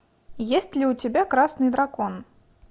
есть ли у тебя красный дракон